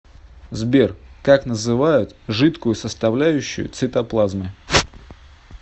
сбер как называют жидкую составляющую цитоплазмы